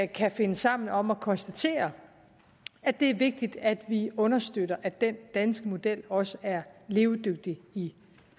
kan finde sammen om at konstatere at det er vigtigt at vi understøtter at den danske model også er levedygtig i